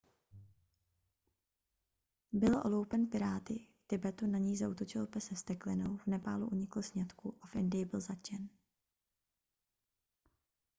byl oloupen piráty v tibetu na něj zaútočil pes se vzteklinou v nepálu unikl sňatku a v indii byl zatčen